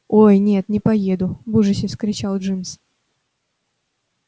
ой нет не поеду в ужасе вскричал джимс